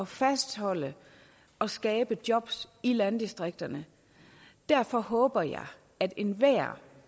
fastholde og skabe jobs i landdistrikterne derfor håber jeg at enhver